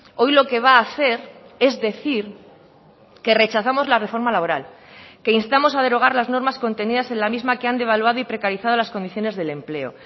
hoy lo que va a hacer es decir que rechazamos la reforma laboral que instamos a derogar las normas contenidas en la misma que han devaluado y precarizado las condiciones del empleo